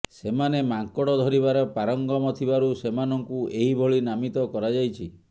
ସେମାନେ ମାଙ୍କଡ଼ ଧରିବାରେ ପାରଙ୍ଗମ ଥିବାରୁ ସେମାନଙ୍କୁ ଏହିଭଳି ନାମିତ କରାଯାଇଛି